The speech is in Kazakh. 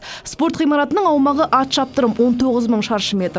спорт ғимаратының аумағы ат шаптырым он тоғыз мың шаршы метр